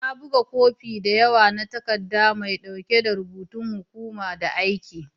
Na buga kofi da yawa na takaddan mai dauki da rubutun hukuma da an aika.